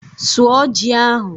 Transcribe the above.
Suọ ji ahụ!